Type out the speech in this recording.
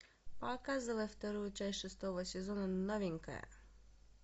показывай вторую часть шестого сезона новенькая